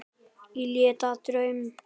Í leit að draumi.